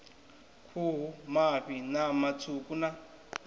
khuhu mafhi ṋama tswuku na